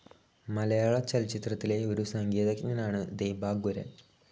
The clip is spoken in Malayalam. മലയാളചലച്ചിത്രത്തിലെ ഒരു സംഗീതജ്ഞനാണ് ദീപാങ്കുരൻ.